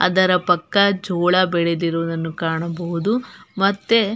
ಅದರ ಪಕ್ಕ ಜೋಳ ಬೆಳೆದಿರುವುದನ್ನು ಕಾಣಬಹುದು ಮತ್ತೆ --